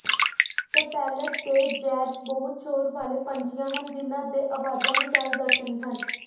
stellar ਦੇ jays ਬਹੁਤ ਸ਼ੋਰ ਵਾਲੇ ਪੰਛੀਆਂ ਹਨ ਜਿਨ੍ਹਾਂ ਦੇ ਆਵਾਜ਼ਾਂ ਵਿਸ਼ਾਲ ਦਰਸ਼ਨੀ ਹਨ